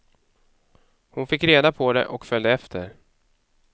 Hon fick reda på det och följde efter.